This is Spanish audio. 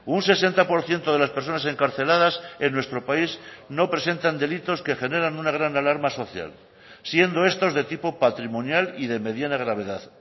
un sesenta por ciento de las personas encarceladas en nuestro país no presentan delitos que generan una gran alarma social siendo estos de tipo patrimonial y de mediana gravedad